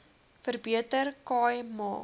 verbeter khai ma